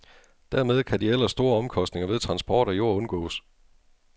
Dermed kan de ellers store omkostninger ved transport af jord undgås.